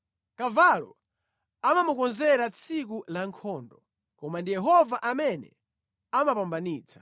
Kavalo amamukonzera tsiku la nkhondo, koma ndi Yehova amene amapambanitsa.